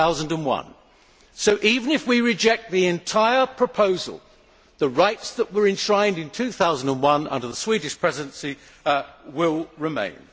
2001. So even if we reject the entire proposal, the rights that were enshrined in 2001 under the Swedish Presidency will remain.